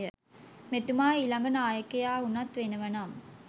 මෙතුමා ඊලඟ නායකයා උනත් වෙනව නම්.